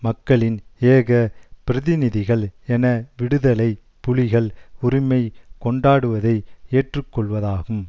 மக்களின் ஏக பிரதிநிதிகள் என விடுதலை புலிகள் உரிமை கொண்டாடுவதை ஏற்றுக்கொள்வதாகும்